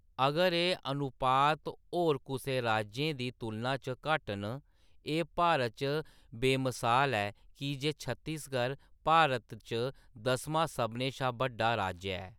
अगर एह्‌‌ अनुपात होर कुसै राज्यें दी तुलना च घट्ट न, एह्‌‌ भारत च बेमसाल ऐ की जे छत्तीसगढ़ भारत च दसमां सभनें शा बड्डा राज्य ऐ।